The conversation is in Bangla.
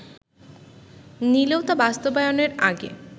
নিলেও তা বাস্তবায়নের আগে